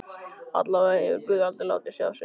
Allavega hefur guð aldrei látið sjá sig á Íslandi.